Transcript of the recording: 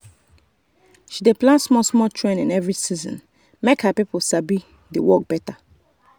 she dey plan small-small training every season make her people sabi the work better.